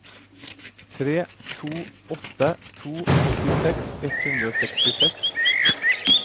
tre to åtte to åttiseks ett hundre og sekstiseks